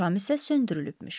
Şam isə söndürülübmüş.